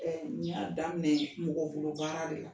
Ni ya daminɛ, mɔgɔ bolo baara de la.